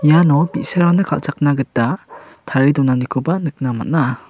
iano bi·sarangna kal·chakna gita tarie donanikoba nikna man·a.